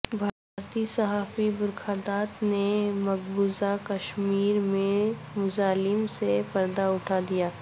بھارتی صحافی برکھا دت نے مقبوضہ کشمیر میں مظالم سے پردہ اٹھا دیا